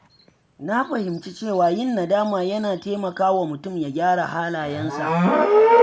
Na fahimci cewa yin nadama yana taimakawa mutum ya gyara halayensa.